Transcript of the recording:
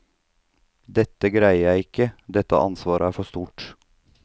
Dette greier jeg ikke, dette ansvaret er for stort.